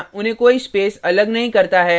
लेकिन यहाँ उन्हें कोई space अल नहीं करता है